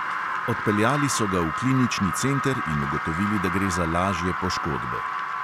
Odpeljali so ga v klinični center in ugotovili, da gre za lažje poškodbe.